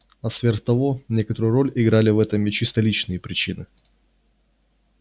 а сверх того некоторую роль играли в этом и чисто личные причины